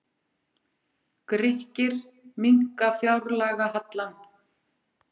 Grikkir minnka fjárlagahallann